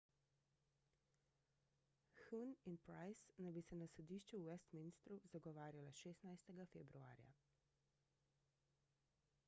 huhne in pryce naj bi se na sodišču v westminstru zagovarjala 16 februarja